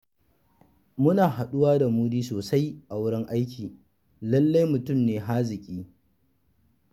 Muna haɗuwa da Mudi sosai a wurin aiki, lallai mutum ne haziƙi.